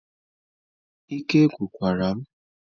Ike agwụkwara m